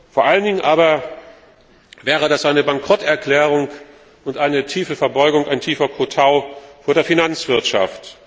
Vor allen Dingen aber wäre das eine Bankrotterklärung und eine tiefe Verbeugung, ein tiefer Kotau vor der Finanzwirtschaft.